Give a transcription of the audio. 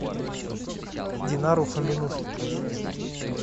динару фомину